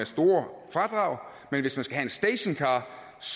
store fradrag men hvis man skal have en stationcar